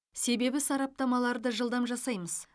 себебі сараптамаларды жылдам жасаймыз